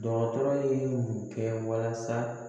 Dɔgɔtɔrɔ ye mun kɛ walasa